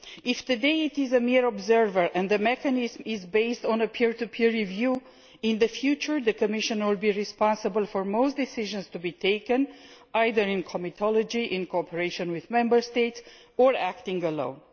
If today it is a mere observer and the mechanism is based on a peer to peer review, in future the Commission will be responsible for most decisions to be taken either in comitology, in cooperation with Member States, or acting alone.